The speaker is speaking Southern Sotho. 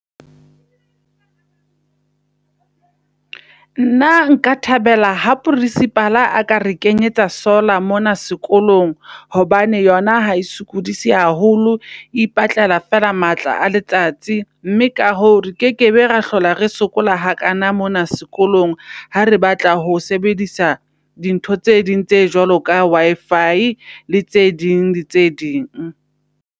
Nna nka thabela ha principal-a a ka re kenyetsa solar mona sekolong hobane yona ha e sokodise haholo, e ipatlela fela matla a letsatsi. Mme ka hoo re kekebe ra hlola re sokola hakana mona sekolong. Ha re batla ho sebedisa dintho tse ding tse jwalo ka Wi-fi, le tse ding le tse ding.